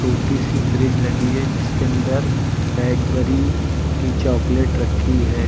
छोटी सी फ्रिज लगी है जिसके अंदर कैडबरी की चॉकलेट रखी है।